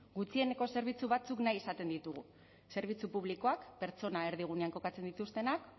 gutxieneko zerbitzu batzuk nahi izaten ditugu zerbitzu publikoak pertsona erdigunean kokatzen dituztenak